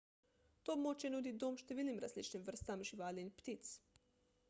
to območje nudi dom številnim različnim vrstam živali in ptic